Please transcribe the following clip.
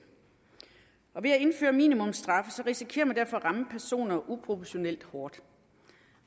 ved at indføre minimumsstraffe risikerer man derfor at ramme personer uforholdsmæssigt hårdt